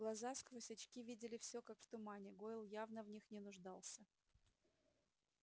глаза сквозь очки видели все как в тумане гойл явно в них не нуждался